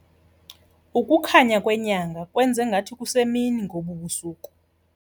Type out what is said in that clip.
Ukukhanya kwenyanga kwenze ngathi kusemini ngobu busuku.